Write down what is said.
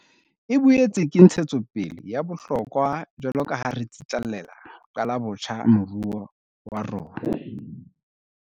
E boetse ke ntshetsopele ya bohlokwa jwaloka ha re tsitlallela ho qala botjha moruo wa rona.